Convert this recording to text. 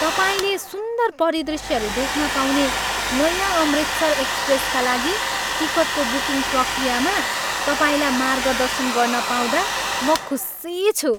तपाईँले सुन्दर परिदृष्यहरू देख्न पाउने नयाँ 'अमृतसर एक्सप्रेस' का लागि टिकटको बुकिङ प्रक्रियामा तपाईँलाई मार्गदर्शन गर्न पाउँदा म खुसी छु।